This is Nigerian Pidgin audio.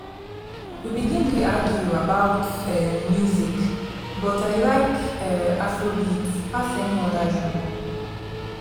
we been dey argue about um music but i like um afrobeats pass any oda genre